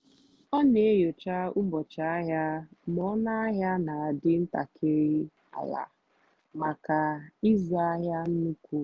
ọ́ nà-ènyócha ụ́bọ̀chị́ àhịá mgbe ónú àhịá nà-àdì́ ntàkị́rị́ àlà màkà ị́zụ́ àhịá nnùkwú.